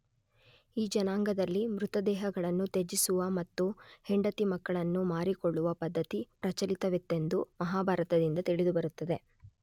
ಈ ಜನಾಂಗದಲ್ಲಿ ಮೃತದೇಹಗಳನ್ನು ತ್ಯಜಿಸುವ ಮತ್ತು ಹೆಂಡತಿ ಮಕ್ಕಳನ್ನು ಮಾರಿಕೊಳ್ಳುವ ಪದ್ಧತಿ ಪ್ರಚಲಿತವಿತ್ತೆಂದು ಮಹಾಭಾರತದಿಂದ ತಿಳಿದುಬರುತ್ತದೆ.